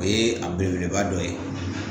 O ye a belebeleba dɔ ye